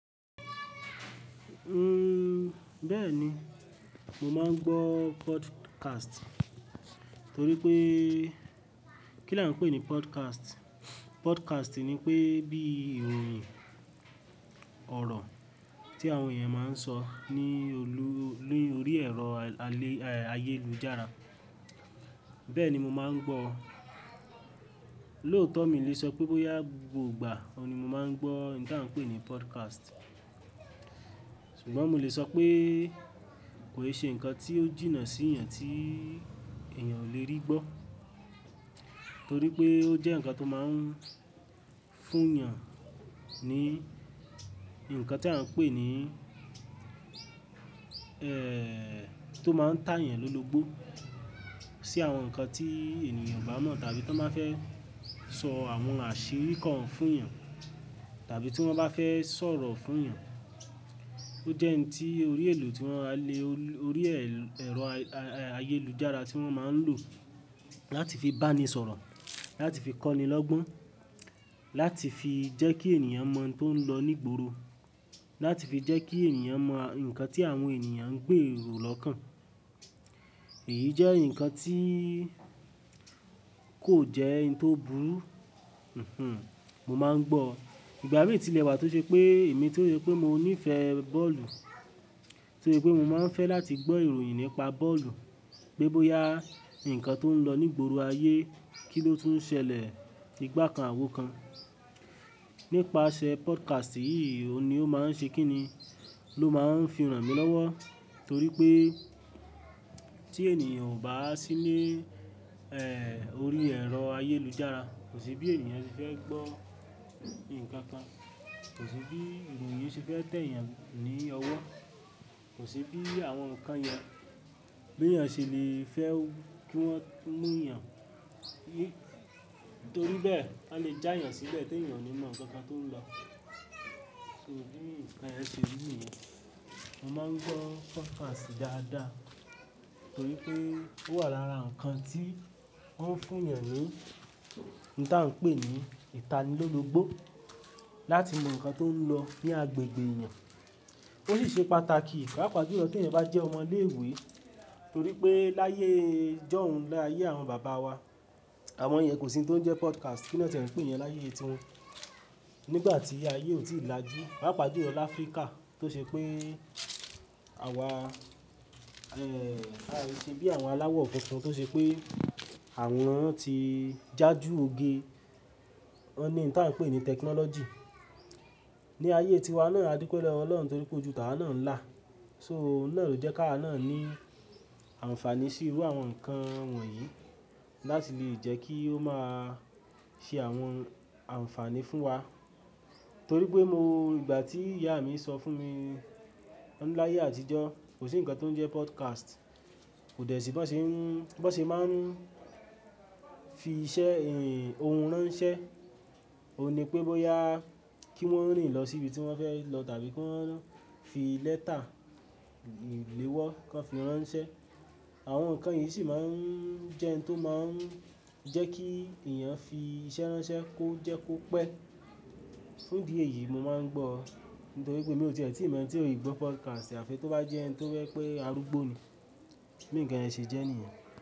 Uhm, bẹ́ẹ̀ni, mo máa ń gbọ́ podcast. Torí pé, kí là ń pè ní podcast? Podcast ni pé bí ìròyìn ọ̀rọ̀ tí àwọn èèyàn máa ń sọ ní òlu- ní orí ẹ̀rọ ayélujára. Bẹ́ẹ̀ni, mo máa ń gbọ́. Lóòótọ́ mi lè sọ pé bóyá gbogba òun ni mo máa ń gbọ́ ní à ń pè ní podcast. Sugbon mo lè sọ pé kò ì ṣe ǹkan tí ó jìnnà sí ìyàn tí èèyàn ò lè rí gbọ́. Torí pé ó jẹ́ ǹkan tó máa ń fún èèyàn ní ǹkan tí a ń pè ní, eh, tó máa ń tá èèyàn lólogbó. Sí àwọn nǹkan tí ènìyàn kò mọ̀ tàbí tí wọ́n bá fẹ́ sọ àwọn àṣírí kan fún èèyàn, tàbí tí wọ́n bá fẹ́ sọ̀rọ̀ fún èèyàn. Ó jẹ́ ohun tí orí elo tí wọ́n lè orí ẹ̀rọ ayélujára tí wọ́n máa ń lò láti fi bá ni sọ̀rọ̀, láti fi kọ́ni lọ́gbọ́n, láti fi jẹ́ kí èèyàn mọ tó ń lọ nígbòòrò, láti fi jẹ́ kí èèyàn mọ ǹkan tí àwọn èèyàn ń gbé èrò lọ́kàn. Èyí jẹ́ ǹkan tí kò jẹ́ ohun tó burú. Mhm. Mo máa ń gbọ́. Ìgbà mí tí lè wà tó ṣe pé èmi tó rí pé mo nífẹ̀ẹ́ bọ́ọ̀lù, torí pé mo máa ń fẹ́ láti gbọ́ ìròyìn nípa bọ́ọ̀lù. Gbé bóyá ǹkan tó ń lọ nígbòòrò ayé, kí ló tún ṣẹlẹ̀ nígbà kan àwo kan. Nípasẹ̀ podcast yìí, òun ni ó máa ń ṣe kí ni, ló máa ń fi hàn mí lọ́wọ́. Torí pé tí èèyàn ò bá sí ní, eh, orí ẹ̀rọ ayélujára, kò sí bí èèyàn ṣe fẹ́ gbọ́ nǹkan kan. Kò sí bí ìròyìn ṣe fẹ́ tẹ èèyàn ní ọwọ́. Kò sí bí àwọn nǹkan yẹn bí èèyàn ṣe lè fẹ́ kí wọ́n mú èèyàn. Torí bẹ́ẹ̀, won lè já èèyàn síbẹ̀ tí èèyàn ò mọ̀ nkankan tó ń lọ. So bí nǹkan yẹn ṣe rí nìyẹn, mo máa ń gbọ́ podcast dáadáa. Torí pé ó wà lára nǹkan tí òun ń fún èèyàn ní níta ń pè ní ìtanilólúgbó. Láti mọ̀ nǹkan tó ń lọ ní agbègbè èèyàn. Ó sì ṣe pàtàkì, pàápàá bí èèyàn bá jẹ́ ọmọ ilé ìwé. Torí pé láyé ijóun, láyé àwọn bàbá wa, àwọn ìyẹn kò sí tó ń jẹ́ podcast. Kí lọ̀n tiẹ ń pè iyẹn láyé ẹ ti wọn? Nígbà tí ayé ò tí ì lajú. Pàápàá ju lo láfríkà tó ṣe pé àwa, eh, ai sé ṣe bí àwọn aláwọ̀ funfun tó ṣe pé àwọn ti já ju oge. Wọ́n ní ń ta n pè ní technology. Ni ayé tiwa náà, a dupẹ lọwọ Ọlọ́run torí pé ojú tàwà náà ń là. So òun náà ló jẹ́ ká a náà ní àǹfàní sí irú àwọn nǹkan wọ̀nyí láti lè jẹ́ kí ó máa ṣe àwọn àǹfàní fún wa. Torí pé mo ìgbà tí ìyá mi sọ fún mi láyé àtijọ́, kò sí ǹkan tó ń jẹ́ podcast. Kò dẹ̀ sí bí wọ́n ṣe ń, bí wọ́n ṣe máa ń fi iṣẹ́, ohun ránṣẹ́. Óun ní pé bóyá kí wọ́n rìn lọ sí ibi tí wọ́n fẹ́ lọ tàbí kí wọ́n rí fi lẹ́tà ìléwọ́ kan fi ránṣẹ́. Àwọn nǹkan yìí sì máa ń jẹ́ ohun tó máa ń jẹ́ kí èèyàn fi iṣẹ́ ránṣẹ́ kó jẹ́ kó pẹ́. Fún ìdí í èyí, mo máa ń gbọ́. Nítorí pé emi ò tíe ti mọ ẹni tí ò í gbọ́ podcast. Àfi tó bá jẹ́ ẹni tó fẹ́ pé a rúgbó ni. Bí nǹkan yẹn ṣe jẹ́ nìyẹn.